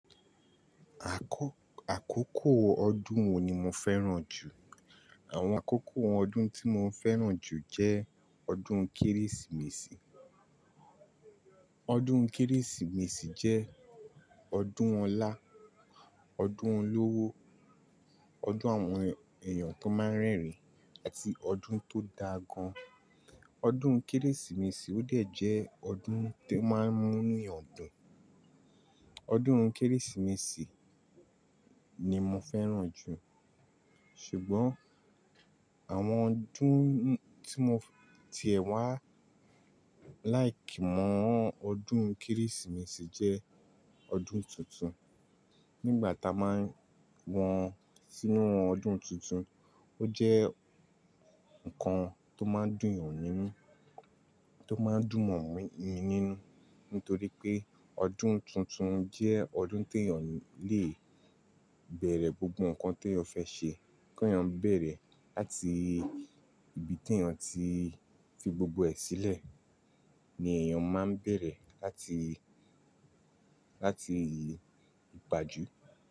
Àkọ, àkókò ọdún wo ni mo fẹ́ràn jù? Àwọn àkókò ọdún tí mo ń fẹ́ràn jù jẹ́ ọdún Kérésìmesì. Ọdún Kérésìmesì jẹ́ ọdún Ọlá, ọdún olówó, ọdún àwọn èèyàn tó máa ń rẹ́rìn àti ọdún tó da gan. Ọdún Kérésìmesì ó dẹ̀ jẹ́ ọdún tó máa ń mú inu eyan dùn. Ọdún Kérésìmesì ni mo fẹ́ràn jù. Ṣùgbọ́n àwọn ọdún tí mo tiẹ̀ wá láì kí mọ ọdún Kérésìmesì jẹ́ ọdún tuntun. Nígbà tá a máa ń wọ́n sínú ọdún tuntun, ó jẹ́ nǹkan tó máa ń dùn mi nínú, tó máa ń dùmọ̀ mi nínú nítorí pé ọdún tuntun jẹ́ ọdún tí èèyàn lè beẹ̀rẹ̀ gbogbo nǹkan tí eyan fẹ́ ṣe kí èèyàn bẹ̀erẹ̀ làti ibi tí èèyàn ti fi gbogbo ẹ sílẹ̀ ni èèyàn máa ń bẹ̀rẹ̀ láti, láti ìpàjú.